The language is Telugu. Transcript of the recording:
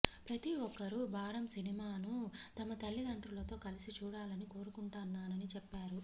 ప్రతీ ఒక్కరూ బారమ్ సినిమాను తమ తల్లితండ్రులతో కలిసి చూడాలని కోరుకుంటున్నానని చెప్పారు